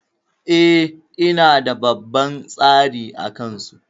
E, ina da babban tsari a kansu.